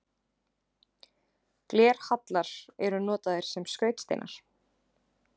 Glerhallar eru notaðir sem skrautsteinar.